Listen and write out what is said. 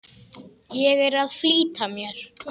Ég er að flýta mér!